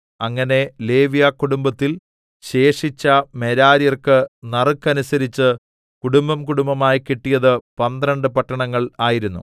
അങ്ങനെ ലേവ്യകുടുംബത്തിൽ ശേഷിച്ച മെരാര്യർക്ക് നറുക്കനുസരിച്ച് കുടുംബംകുടുംബമായി കിട്ടിയത് പന്ത്രണ്ട് പട്ടണങ്ങൾ ആയിരുന്നു